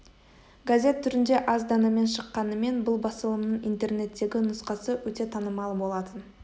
газет түрінде аз данамен шыққанымен бұл басылымның интернеттегі нұсқасы өте танымал болатын